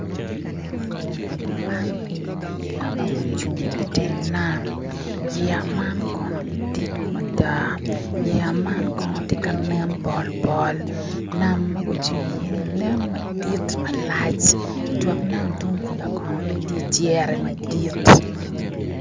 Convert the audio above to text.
Man enini yeya ma gucung iteng nam yeya man kono gidit mada yeya man kono tye ka nen pol pol nam gucung iye ni nen madit malac itwok nam tung kuca kono bene tye cere madit.